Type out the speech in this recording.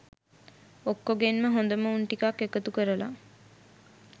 ඔක්කොගෙන්ම හොඳම උන් ටිකක් එකතු කරල